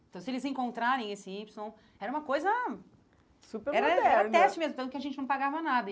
Então, se eles encontrarem esse Y, era uma coisa... Super moderno Era era um teste mesmo, tanto que a gente não pagava nada e.